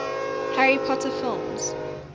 harry potter films